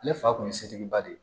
Ne fa kun ye setigiba de ye